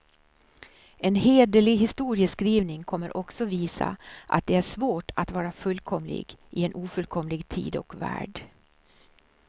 En hederlig historieskrivning kommer också visa, att det är svårt att vara fullkomlig i en ofullkomlig tid och värld.